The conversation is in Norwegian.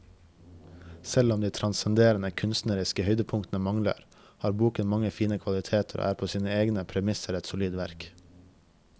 Selv om de transcenderende kunstneriske høydepunktene mangler, har boken mange fine kvaliteter og er på sine egne premisser et solid verk.